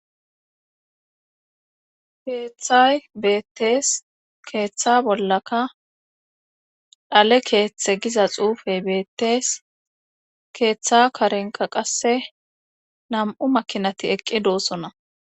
Keeththay beettees. Keeththa bollaka xale keeththe giza xuufey beettees. Keeththa karenika qasse nam'u makinati eqqi doossona.